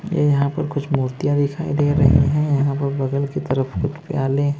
यह यहां पर कुछ मूर्तियां दिखाई दे रही हैं। यहां पर बगल की तरफ कुछ प्याले-